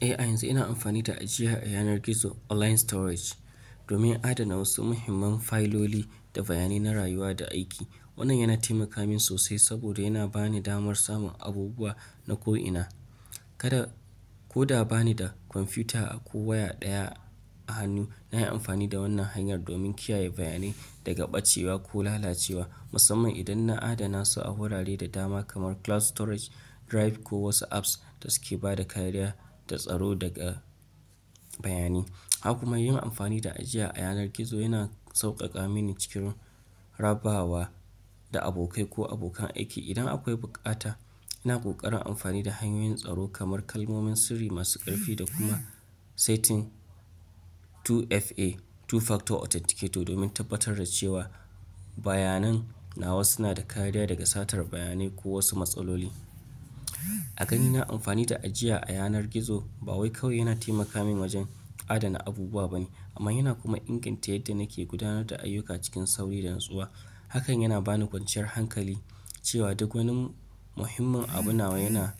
Eh, a yanzu ina amfani da ajiya a yanar gizo online storage, domin adana wasu muhimman fayiloli da bayanai na rayuwa da aiki. Wannan yana taimaka min sosai saboda yana bani damar samun abubuwa na ko'ina. Kada, ko da ba ni da kwamfuta ko waya ɗaya a hannu, na yi amfani da wannan hanyar domin kiyaye bayanai daga ɓacewa ko lalacewa, musamman idan na adana su a wurare da dama kamar cloud storage, drive, ko wasu apps da suke ba da kariya da tsaro daga bayanai. Haka kuma yin amfani da ajiya a yanar gizo yana sauƙaƙa mini cikin rabawa, da abokai ko abokan aiki, idan akwai bukata. Ina ƙoƙarin amfani da hanyoyin tsaro kamar kalmomin sirri masu ƙarfi da kuma setting 2FA two factor authenticator domin tabbatar da cewa bayanan nawa suna da kariya daga satar bayanai ko wasu matsaloli. A gani na, amfani da ajiya a yanar gizo, ba wai kawai yana taimaka min wajen adana abubuwa bane, amma yana kuma inganta yadda nake gudanar da ayyuka cikin sauri da natsuwa. Hakan yana bani kwanciyar hankali cewa duk wani muhimmin abu nawa yana